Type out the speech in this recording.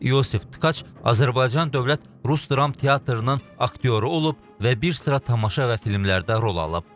Yusif Tkaç Azərbaycan Dövlət Rus Dram Teatrının aktyoru olub və bir sıra tamaşa və filmlərdə rol alıb.